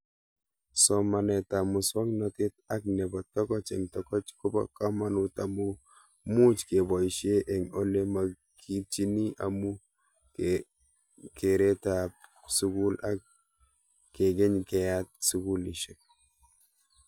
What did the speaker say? Somanet ab muswognatet ak nepo tokoch eng' tokoch kopo kamanut amuu much kepoishe eng' ole makitchini amu kereta ab sukul ak kekeny keyat sukulishek